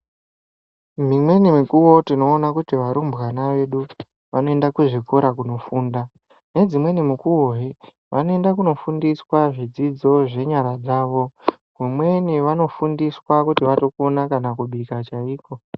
Mimweni mikuwo tinoona kuti varumbwana vedu vanoenda kuzvikora kunofunda. Nedzimweni mikuwohe vanoenda kunofundiswa zvidzidzo zvenyara dzavo. Kumweni vanofundiswa kuti vatokona kana kubika chaiko.